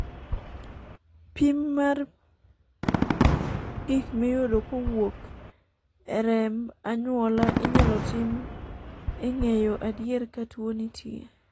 pim mar pim mar gik miyudo kowuok e remb anyuola inyalo tim e ng'eyo adier ka tuo nitie